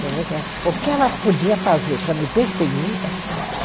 Quer dizer que o que ela podia fazer para me perseguir, ela fazia.